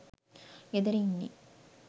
ගෙදර ඉන්නෙ